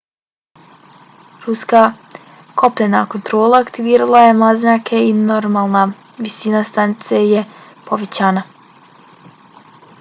ruska kopnena kontrola aktivirala je mlaznjake i normalna visina stanice je povraćena